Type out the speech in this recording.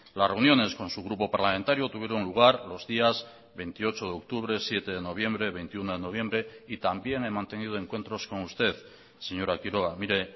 las reuniones con su grupo parlamentario tuvieron lugar los días veintiocho de octubre siete de noviembre veintiuno de noviembre y también he mantenido encuentros con usted señora quiroga mire